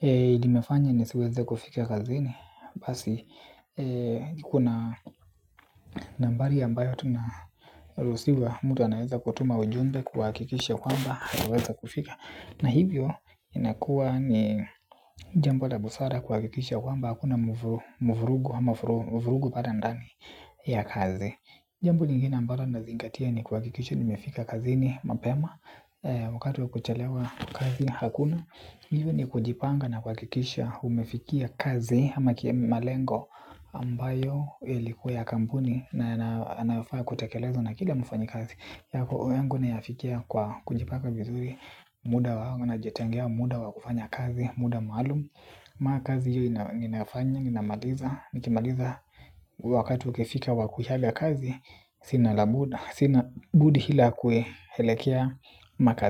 imefanya nisiweze kufika kazini. Basi kuna nambari ambayo tunaruhusiwa. Mtu anaweza kutuma ujumbe kuhakikisha kwamba na hivyo inakuwa ni jambo la busara kuwakikisha kwamba hakuna mvurugu ama vurugu pale ndani ya kazi. Jambo lingine ambayo nazingatia ni kuhakikisha nimefika kazini mapema wakati wa kuchalewa kazi hakuna hivyo ni kujipanga na kuhakikisha umefikia kazi ama kima malengo ambayo ilikuwa ya kampuni na yanayofaa kutakelezwa na kila mfanyikazi yangu nayafikia kwa kujipanga vizuri muda wangu najetangea muda wa kufanya kazi muda maalumu mara kazi hiyo ninayofanya, ninamaliza nikimaliza wakati ukifika wakuhiaga kazi sinabudi hila kuelekea makazi.